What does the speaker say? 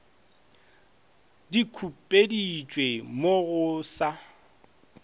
di khupeditšwe mo go sa